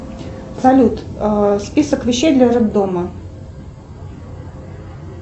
салют список вещей для роддома